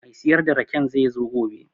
Mai siyar da raken zai zo gobe